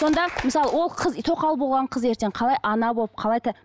сонда мысалы ол қыз тоқал болған қыз ертең қалай ана болып қалай